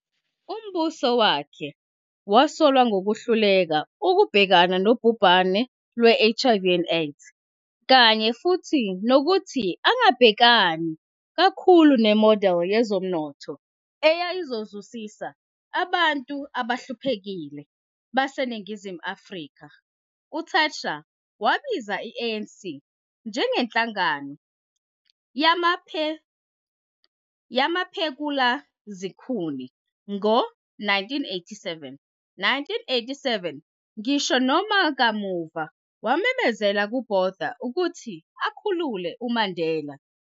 Umbuso wakhe wasolwa ngokuhluleka ukubhekana nobhubhane lwe-HIV and AIDS, kanye futhi nokuthi angabhekani kakhulu ne-model yezomnotho eyayizozuzisa abantu abahluphekile baseNingizimu Afrika. UThatcher wabiza i-ANC njengenhlangano yamaphekula-zikhuni ngo 1987. 1987, ngisho noma kamuva wamemezela kuBotha ukuthi akhulule uMandela.